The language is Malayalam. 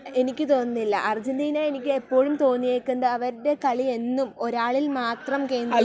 എനിക്ക് തോന്നുന്നില്ല. എനിക്ക് തോന്നിയേക്കുന്നത് അവരുടെ കളി എന്നും ഒരാളിൽ മാത്രം കേന്ദ്രീകരിച്ച്....